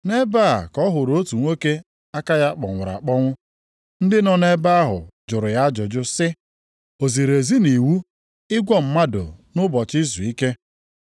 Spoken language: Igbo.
Nʼebe a ka ọ hụrụ otu nwoke aka ya kpọnwụrụ akpọnwụ. Ndị nọ nʼebe ahụ jụrụ ya ajụjụ sị, “O ziri ezi nʼiwu ịgwọ mmadụ nʼụbọchị izuike?” + 12:10 Maọbụ, ụbọchị ofufe ndị Juu